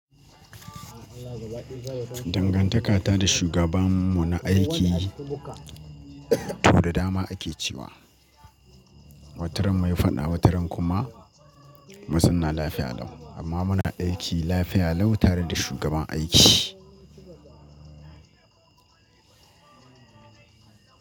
Dangantaka ta da shugabanmu na aiki to da dama ake cewa wataran mai faɗa wataran kuma muzauna lafiya lau amma muna aiki lafiya lau tare da shugaban aiki.